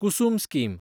Kusum scheme